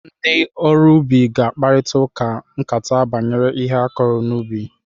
Ndị oru ubi ga-na akparịkata nkata banyere ihe akụrụ n'ubi